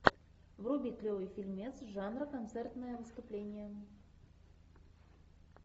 вруби клевый фильмец жанра концертное выступление